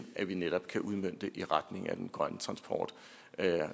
at vi netop kan udmønte i retning af den grønne transport